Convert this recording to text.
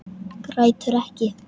Grætur ekki.